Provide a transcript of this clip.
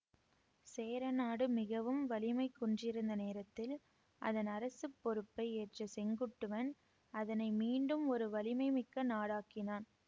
சேரநாடு மிகவும் வலிமை குன்றியிருந்த நேரத்தில் அதன் அரசு பொறுப்பை ஏற்ற செங்குட்டுவன் அதனை மீண்டும் ஒரு வலிமை மிக்க நாடாக்கினான்